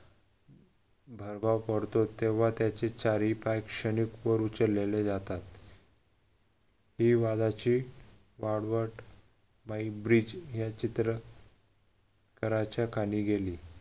प्रभाव पडतो तेव्हा त्याचे चारही पाय क्षणिक वर उचलले जातात ही वाघाची वाघवात हे चित्र घराच्या खाली गेले